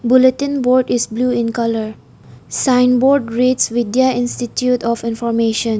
Bulletin board is blue in colour sign board reads vidya institute of information.